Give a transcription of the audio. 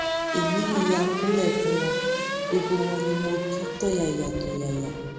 èmi náà yáa kúnlẹ fún wọn gbogbo wọn ni mo ki tọyàyàtọyàyà